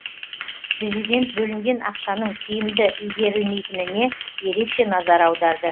президент бөлінген ақшаның тиімді игерілмейтініне ерекше назар аударды